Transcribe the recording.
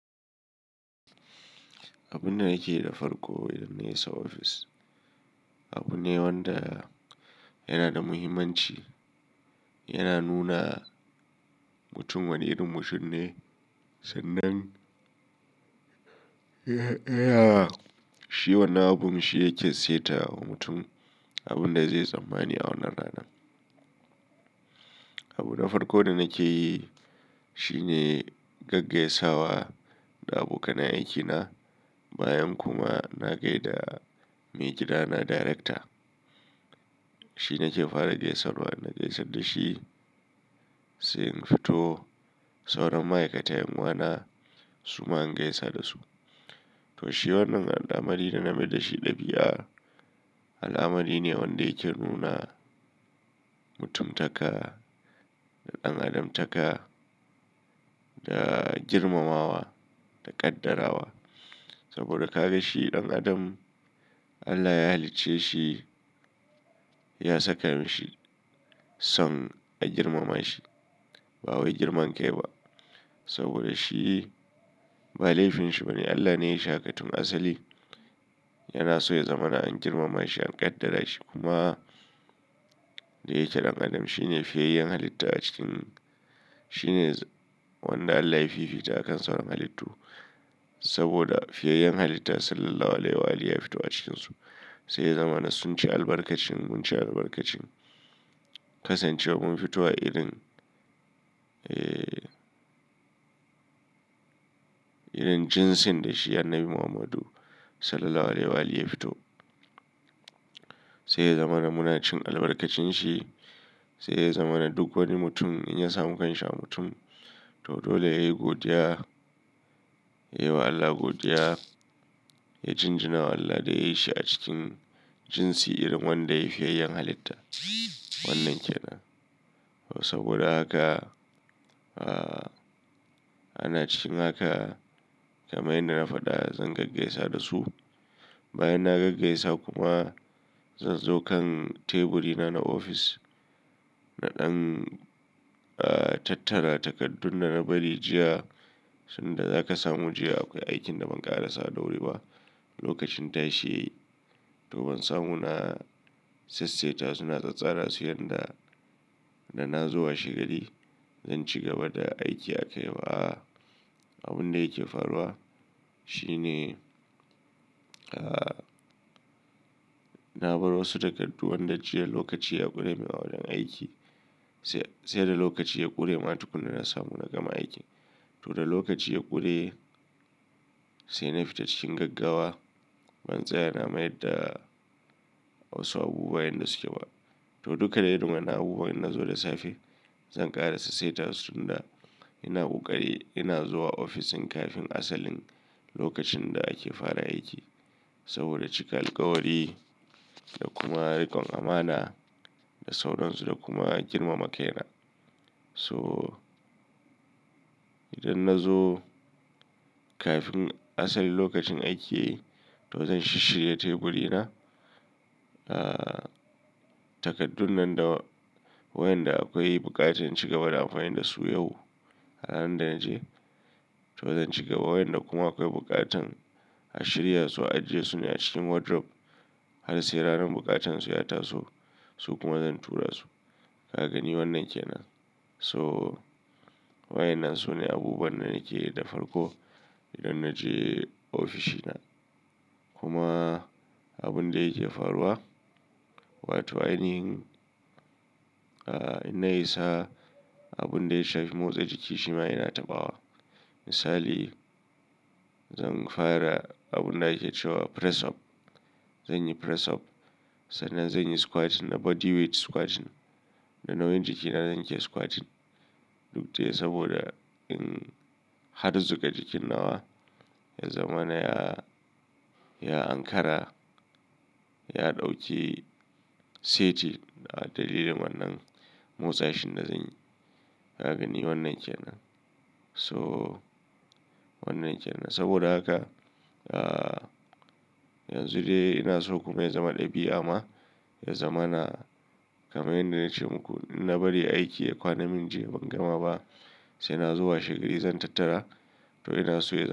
Abunda nake da farko idanna isa ofis, abun ne wanda yanada muhimmanci. Yana nuna mutum wane irin mutum ne, sannan, Tayaa, shi wannan abun shi yake saita wa mutum abinda zai tsammani a wannan ranar. Abu na farko da nakeyi, shine gaggaisawa da abokanan aikina. Bayan kuma na gaida maigidana director. Shi nake fara gaisarwa, na gaisa dashi, sai in fito sauran ma'aikatan yan uwana, suma in gaisa dasu. Toshi wannan al'amari dana maidashi ɗabi'a, al'amari ne wanda yake nuna mutumtaka da ɗan'adamtaka da girmamawa da ƙaddara wa. Saboda kagashi dan Adam, Allah ya halicceshi ya saka mishi son a girmamashi. Ba wai girman kai ba. Saboda shi ba laifinshi bane, Allah ne yayishi haka tun asali. Yanaso ya zamana an girmama shi, an ƙaddara shi kuma dayake ɗan adam. Shi ne fiyayyen halitta a cikin, shine wanda Allah ya fifita a kan sauran halittu. Saboda fiyayyen halitta sallallahu alaihi wa alihi ya fito a cikinsu. Saiya zamana sun ci albarkacin, munci albarkacin. Kasancewar mun fito a irin, ee, irin jinsin dashi Annabi Muhammadu sallallahu alaihi wa alihi ya fito. Saiya zamana muna cin albarkacin shi. Saiya zama na duk wani mutum in ya samu kanshi a mutum to dole yayi godiya. Yayi wa Allah godiya. Ya jinjiwa Allah da yayishi a cikin jinsi irin wanda yayi fiyayyen halitta. Wannan kenan. To saboda haka, ah, ana cikin haka kamar yadda na faɗa zan gaggaisa dasu. Bayan na gaggaisa kuma zanzo kan teburi na na ofis. Naɗan, ah, tattara takardun dana bari jiya. Tunda zaka samu jiya akwai aikinda ban ƙarasa dawuriba. Lokacin tashi to ban samuna sassaita suna tsattsara su yanda, da nazo washe gari. Zanci gaba da aiki akaiba a'a. Abunda yake faruwa, shine, ah, na bar wasu takardu wanda jiya lokaci ya ƙure mai waɗannan aiki. Saida lokaci ya ƙurema tukunna na samu na gama aikin. Toda lokaci ya ƙure, saina fita cikin gaggawa. Ban tsaya na mayarda wasu abubuwa yanda sukeba. To duka dai iri wa'innan abubuwa in nazo da safe, zan ƙara sassaita su tunda ina ƙoƙari ina zuwa ofisin kafin asalin lokacin da ake fara aiki. Saboda cika alkawari da kuma rikon amana da sauransu da kuma girmama kaina. So, idan nazo kafin asalin lokacin aiki tozan shisshire teburi na. Ah, takardunnan da wayanda akwai buƙatan inci gaba da amfani dasu yau. Halan da naje to zan cigaba wayanda kuma akwai buƙatan a shiryasu a ajesu ne a cikin wardrobe. Har sai ranar buƙatan su ya taso su kuma zan tura su. Kagani wannan kenan, so wa'innan sune abubuwanda nakeyi da farko idan naje ofishina kuma abunda yake faruwa wato ainihin. Ah, inna isa abunda yashafi motsa jiki shima ina taɓawa. Misali, zan fara abun da ake cewa press up. Zanyi press up, sannan zanyi squatting na body weight squatting da nauyin jikina nake squatting. Duk dai saboda in harzuƙa jikin nawa ya zamana ya, ya Ankara. Ya ɗauki seti a dalilin wannan motsashin da zanyi. Ka gani wannan ke nan. So wannan kenan. Saboda haka, ah, yanzu dai inaso kuma ya zama ɗabi'a ma. Ya zamana kamar yadda nace muku inna bari aiki ya kwana min jiya ban gama ba sai nazo washe gari zan tattara. To inaso yanzu.